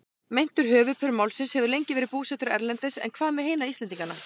Meintur höfuðpaur málsins hefur lengi verið búsettur erlendis en hvað með hina Íslendingana?